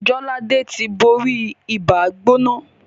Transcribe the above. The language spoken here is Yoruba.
Jolade tí bóri Ibàá-gbóná